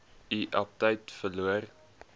u aptyt verloor